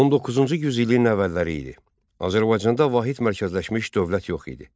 19-cu yüz illiyin əvvəlləri idi, Azərbaycanda vahid mərkəzləşmiş dövlət yox idi.